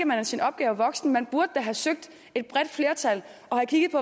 man er sin opgave voksen man burde da have søgt et bredt flertal og have kigget på